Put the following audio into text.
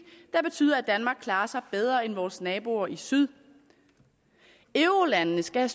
der betyder at danmark klarer sig bedre end vores naboer i syd eurolandene skal